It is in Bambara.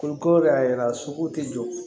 Olu ko de y'a yira so tɛ jɔ